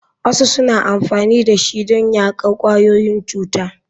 Wasu suna amfani da shi don yaƙar ƙwayoyin cuta.